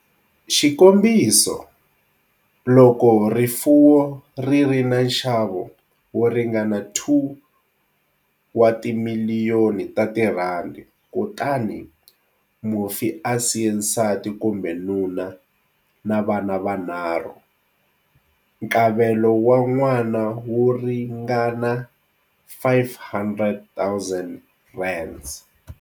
Xikombiso, loko rifuwo ri ri na nxavo wo ringana R2 wa timiliyoni kutani mufi a siye nsati kumbe nuna na vana vanharhu, nkavelo wa n'wana wu ringana R500 000.